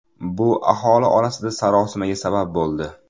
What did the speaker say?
Bu aholi orasida sarosimaga sabab bo‘ldi.